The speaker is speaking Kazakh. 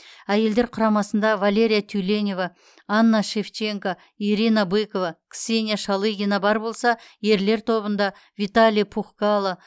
әйелдер құрамасында валерия тюленева анна шевченко ирина быкова ксения шалыгина бар болса ерлер тобында виталий пухкало